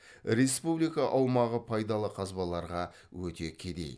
республика аумағы пайдалы қазбаларға өте кедей